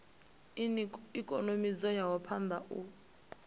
ikonomi dzo ya phanda u